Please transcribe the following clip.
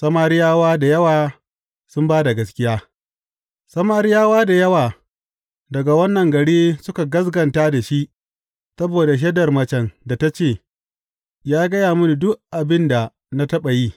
Samariyawa da yawa sun ba da gaskiya Samariyawa da yawa daga wannan gari suka gaskata da shi saboda shaidar macen da ta ce, Ya gaya mini duk abin da na taɓa yi.